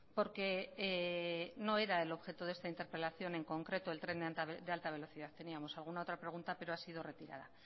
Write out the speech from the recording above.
porque no era el objeto de esta interpelación en concreto el tren de alta velocidad teníamos alguna otra pregunta pero ha sido retirada